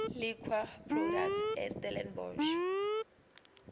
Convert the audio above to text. liquor products estellenbosch